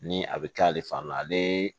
Ni a bɛ kɛ ale fan na ale